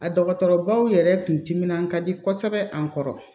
A dɔgɔtɔrɔbaw yɛrɛ kun timinan ka di kosɛbɛ an kɔrɔ